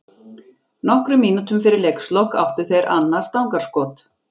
Nokkrum mínútum fyrir leikslok áttu þeir annað stangarskot.